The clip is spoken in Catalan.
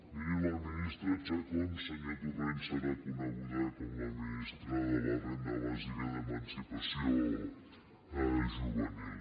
miri la ministra chacón senyor torrent serà coneguda com la ministra de la renda bàsica d’emancipació juvenil